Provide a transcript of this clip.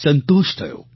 સંતોષ થયો